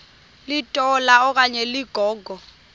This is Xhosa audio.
litola okanye ligogo